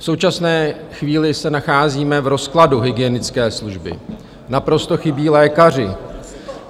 V současné chvíli se nacházíme v rozkladu hygienické služby, naprosto chybí lékaři.